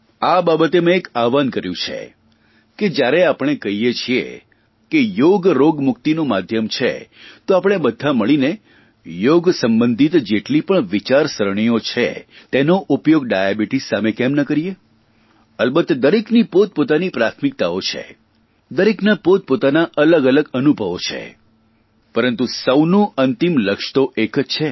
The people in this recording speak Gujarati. આ બાબતે મેં એક આહવાન કર્યું છે કે જયારે આપણે કહીએ છીએ કે યોગ રોગમુકિતનું માધ્યમ છે તો આપણે બધાં મળીને યોગ સંબંધિત જેટલી પણ વિચારસરણીઓ છે તેનો ઉપયોગ ડાયાબિટીસ સામે કેમ ન કરીએ અલબત્ત દરેકની પોતપોતાની પ્રાથમિકતાઓ છે દરેકના પોતાના અલગઅલગ અનુભવો છે